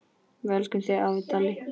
Við elskum þig, afi Dalli.